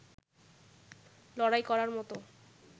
লড়াই করার মতো